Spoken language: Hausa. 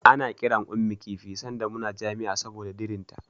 Ana kiran Ummi kifi sanda muna jami'a saboda dirinta.